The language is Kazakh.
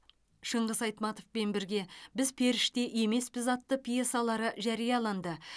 шыңғыс айтматовпен бірге біз періште емеспіз атты пьесалары жарияланды